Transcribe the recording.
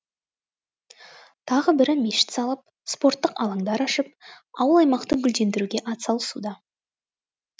тағы бірі мешіт салып спорттық алаңдар ашып ауыл аймақты гүлдендіруге ат салысуда